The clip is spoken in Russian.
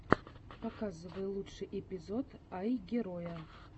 показывай лучший эпизод айгероя